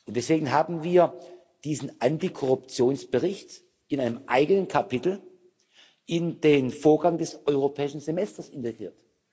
Deswegen haben wir diesen Antikorruptionsbericht in einem eigenen Kapitel in den Vorgaben des Europäischen Semesters integriert.